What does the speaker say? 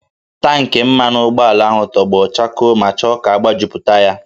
Tankị mmanụ ụgbọala ahụ tọgbọ chakoo ma chọọ ka agbajupụta ya